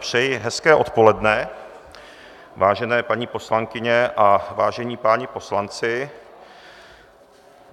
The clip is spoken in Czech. Přeji hezké odpoledne, vážené paní poslankyně a vážení páni poslanci.